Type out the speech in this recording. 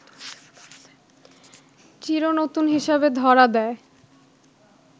চির নতুন হিসেবে ধরা দেয়